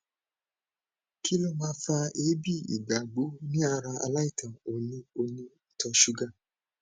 kí ló máa fa ebi igbagbo ni ara alaisan oni oni ito sugar